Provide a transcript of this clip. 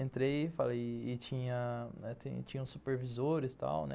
Entrei e tinha os supervisores e tal né